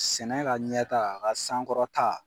Sɛnɛ ka ɲɛta, a ka sankɔrɔta.